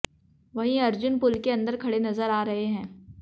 वहीं अर्जुन पूल के अंदर खड़े नजर आ रहे हैं